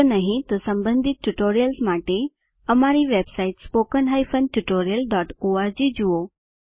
જો નહિં તો સંબંધિત ટ્યુટોરિયલ્સ માટે અમારી વેબસાઇટ httpspoken tutorialorg જુઓ